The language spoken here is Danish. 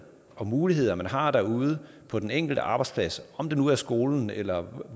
og muligheder man har derude på den enkelte arbejdsplads om det nu er skolen eller